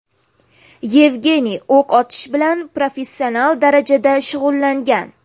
Yevgeniy o‘q otish bilan professional darajada shug‘ullangan.